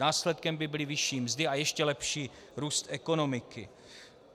Následkem by byly vyšší mzdy a ještě lepší růst ekonomiky.